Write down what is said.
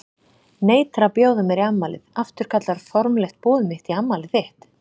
Neitar að bjóða mér í afmælið, afturkallar formlegt boð mitt í afmælið þitt.